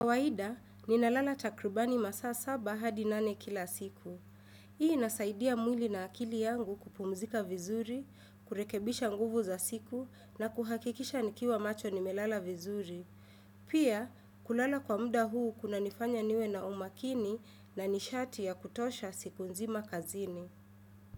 Kawaida, ninalala takrubani masaa saba hadi nane kila siku. Hii inasaidia mwili na akili yangu kupumzika vizuri, kurekebisha nguvu za siku na kuhakikisha nikiwa macho nimelala vizuri. Pia, kulala kwa muda huu kuna nifanya niwe na umakini na nishati ya kutosha siku nzima kazini.